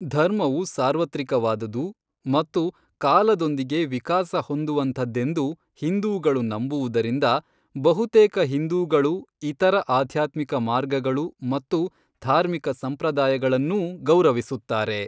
ಧರ್ಮವು ಸಾರ್ವತ್ರಿಕವಾದುದು ಮತ್ತು ಕಾಲದೊಂದಿಗೆ ವಿಕಾಸ ಹೊಂದುವಂಥದ್ದೆಂದು ಹಿಂದೂಗಳು ನಂಬುವುದರಿಂದ, ಬಹುತೇಕ ಹಿಂದೂಗಳು ಇತರ ಆಧ್ಯಾತ್ಮಿಕ ಮಾರ್ಗಗಳು ಮತ್ತು ಧಾರ್ಮಿಕ ಸಂಪ್ರದಾಯಗಳನ್ನೂ ಗೌರವಿಸುತ್ತಾರೆ.